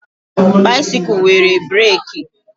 Baisikụl nwere breeki